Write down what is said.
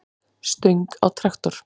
stöng á traktor.